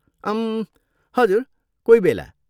अम्म्, हजुर, कोहीबेला।